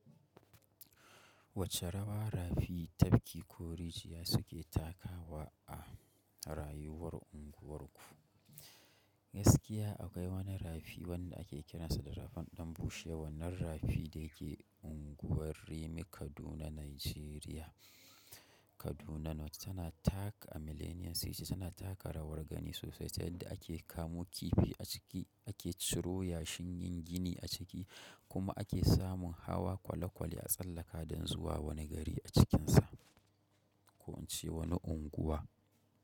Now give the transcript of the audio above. Wacce rawa rafi tafki ko rijiya suke takawa a rayuwar ku. Gaskiya akwai wani rafi wanda ake kiransa da rafan Danbushewa. Wannan rafi da yake unguwar Rimi Kaduna, Najeriya Kaduna wacce tana tak a Millennium City tana taka rawar gani sosai ta yadda ake kamu kifi a ciki, ake ciro yashin yin gini a ciki kuma ake samun hawa kwale kwale a tsallaka don zuwa wani gari a cikinsa ko ince wani unguwa.